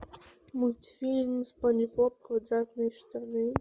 мультфильм спанч боб квадратные штаны